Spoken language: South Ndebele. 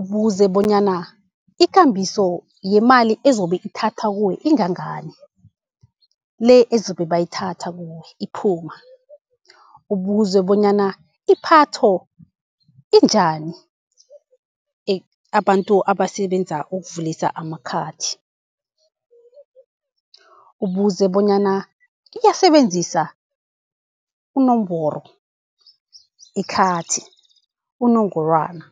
Ubuze bonyana ikambiso yemali ezobe ithatha kuwe ingangani, le ezobe bayithatha kuwe iphuma. Ubuze bonyana iphatho injani, abantu abasebenza ukuvulisa amakhathi, ubuze bonyana kiyasebenzisa unomboro ikhathi unongorwana.